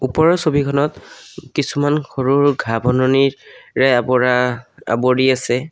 ওপৰৰ ছবিখনত কিছুমান সৰু সৰু ঘাঁহ বননিৰে আৱৰা আৱৰি আছে।